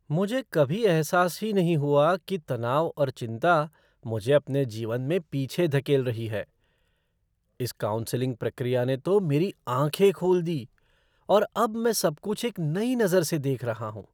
मुझे कभी एहसास ही नहीं हुआ कि तनाव और चिंता मुझे अपने जीवन में पीछे धकेल रही है। इस काउंसलिंग प्रक्रिया ने तो मेरी आँखें खोल दी और अब मैं सबकुछ एक नई नज़र से देख रहा हूँ।